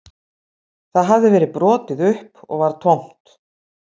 Það hafði verið brotið upp og var tómt